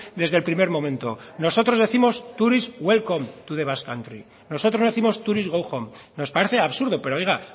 desde el primer momento nosotros décimos tourist welcome to the basque country nosotros no décimos tourist go home nos parece absurdo pero oiga